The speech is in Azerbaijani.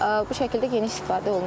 Bu şəkildə geniş istifadə olunur.